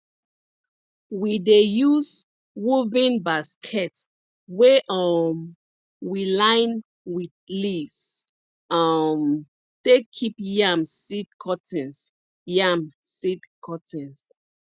we dey use woven basket wey um we line with leaves um take keep yam seed cuttings yam seed cuttings